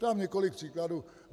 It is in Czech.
Dám několik příkladů.